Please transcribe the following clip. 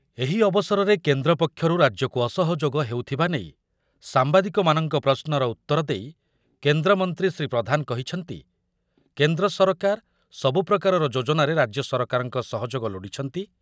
ଏହି ଅବସରରେ କେନ୍ଦ୍ର ପକ୍ଷରୁ ରାଜ୍ୟକୁ ଅସହଯୋଗ ହେଉଥିବା ନେଇ ସାମ୍ବାଦିକମାନଙ୍କ ପ୍ରଶ୍ନର ଉତ୍ତର ଦେଇ କେନ୍ଦ୍ରମନ୍ତ୍ରୀ ଶ୍ରୀ ପ୍ରଧାନ କହିଛନ୍ତିି, କେନ୍ଦ୍ର ସରକାର ସବୁପ୍ରକାରର ଯୋଜନାରେ ରାଜ୍ୟ ସରକାରଙ୍କ ସହଯୋଗ ନେଉଛନ୍ତି